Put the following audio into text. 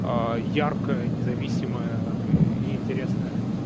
яркая независимая интересное